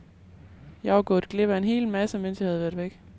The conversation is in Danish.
Jeg var gået glip af en hel masse, mens jeg havde været væk.